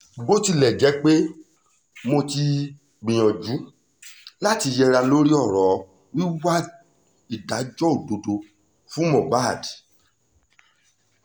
bó tilẹ̀ jẹ́ pé mo ti gbìyànjú láti yẹra lórí ọ̀rọ̀ wíwá ìdájọ́ òdodo fún mohbad